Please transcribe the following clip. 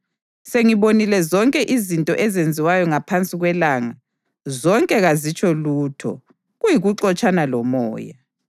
Sengizibonile zonke izinto ezenziwayo ngaphansi kwelanga; zonke kazitsho lutho, kuyikuxotshana lomoya.